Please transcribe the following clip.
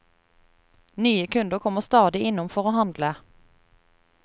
Nye kunder kommer stadig innom for å handle.